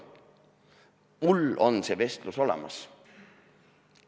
Mul on see vestlus olemas.